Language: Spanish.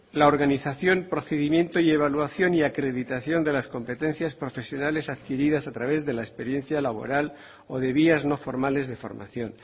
la organización procedimiento y evaluación y acreditación de las competencias profesionales adquiridas a través de la experiencia laboral o de vías no formales de formación